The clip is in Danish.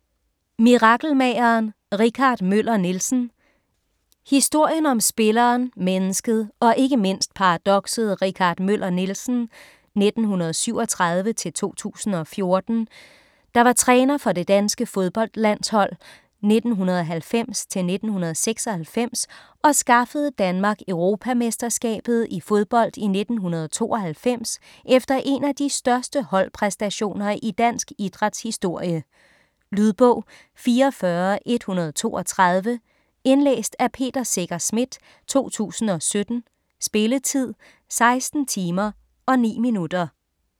Mirakelmageren - Richard Møller Nielsen Historien om spilleren, mennesket og ikke mindst paradokset Richard Møller Nielsen (1937-2014), der var træner for det danske fodboldlandshold 1990-1996 og skaffede Danmark Europamesterskabet i fodbold i 1992 efter en af de største holdpræstationer i dansk idræts historie. Lydbog 44132 Indlæst af Peter Secher Schmidt, 2017. Spilletid: 16 timer, 9 minutter.